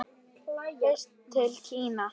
Fyrst til Kína.